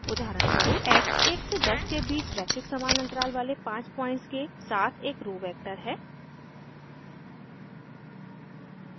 x 1 से 10 के बीच रैखिक समान अन्तराल वाले 5 पॉइंट्स के साथ एक रो row वेक्टर है